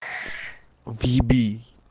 въеби